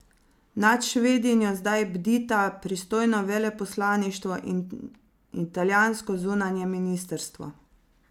Nad Švedinjo zdaj bdita pristojno veleposlaništvo in italijansko zunanje ministrstvo.